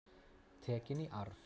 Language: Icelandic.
Tekin í arf.